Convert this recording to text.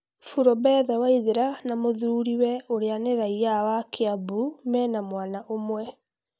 Purobetha Waithĩra na mũthũriwe ũria nĩ raia wa kiambu mena mwana ũmwe